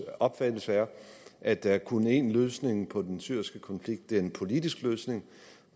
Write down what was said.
opfattelse er at der kun er én løsning på den syriske konflikt det er en politisk løsning